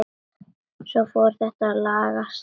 Svo fór þetta að lagast.